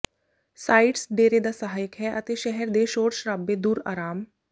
sites ਡੇਰੇ ਦਾ ਸਹਾਇਕ ਹੈ ਅਤੇ ਸ਼ਹਿਰ ਦੇ ਸ਼ੋਰ ਸ਼ਰਾਬੇ ਦੂਰ ਆਰਾਮ